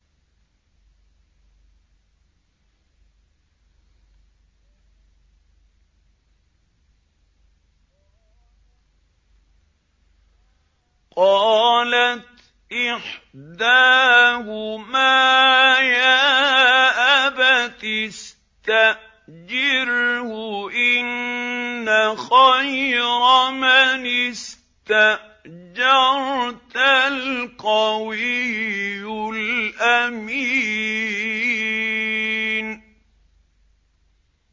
قَالَتْ إِحْدَاهُمَا يَا أَبَتِ اسْتَأْجِرْهُ ۖ إِنَّ خَيْرَ مَنِ اسْتَأْجَرْتَ الْقَوِيُّ الْأَمِينُ